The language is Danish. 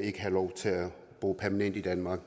ikke have lov til at bo permanent i danmark